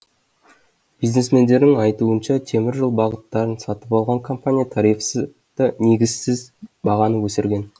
бизнесмендердің айтуынша теміржол бағыттарын сатып алған компания тарифты негізсіз бағаны өсірген